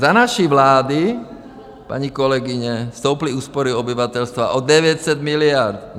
Za naší vlády, paní kolegyně, stouply úspory obyvatelstva o 900 miliard.